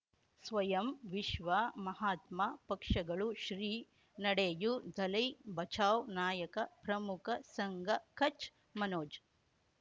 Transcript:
ಸ್ವಯಂ ವಿಶ್ವ ಮಹಾತ್ಮ ಪಕ್ಷಗಳು ಶ್ರೀ ನಡೆಯೂ ದಲೈ ಬಚೌ ನಾಯಕ ಪ್ರಮುಖ ಸಂಘ ಕಚ್ ಮನೋಜ್